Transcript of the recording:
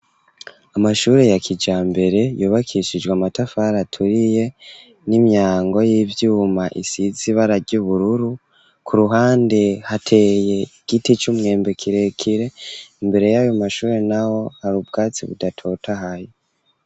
Amashure, ya kijambere, yubakishijwe amatafari, aturiye, n'imyango y'ivyuma, isize ibara ry'ubururu; ku ruhande, hateye igiti c'umwembe, kirekire; imbere y'ayo mashure naho, hari ubwatsi budatotahaye.